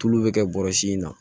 Tulu bɛ kɛ bɔrɛ in na